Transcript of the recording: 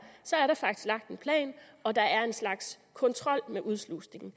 er der faktisk lagt en plan og der er en slags kontrol med udslusningen